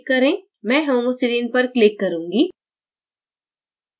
मैं homoserine पर click करूँगी